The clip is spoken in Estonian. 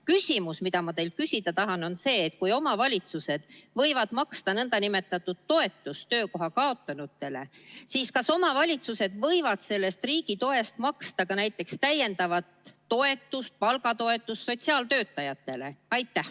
Küsimus, mida ma teilt küsida tahan, on selline: kui omavalitsused võivad maksta toetust töökoha kaotanutele, siis kas omavalitsused võivad sellest riigitoest maksta ka täiendavat toetust, palgatoetust sotsiaaltöötajatele?